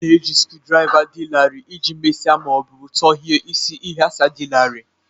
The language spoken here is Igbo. A na-eji screwdrivers dị larịị iji mesie ma ọ bụ tọghee isi ịghasa dị larịị